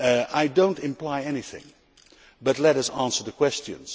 I am not implying anything, but let us answer the questions.